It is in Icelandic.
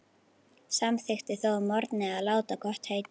Samþykkti þó að morgni að láta gott heita.